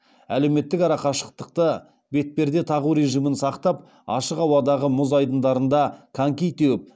әлеуметтік арақашықтықты бетперде тағу режимін сақтап ашық ауадағы мұз айдындарында коньки теуіп